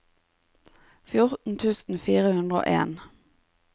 fjorten tusen fire hundre og en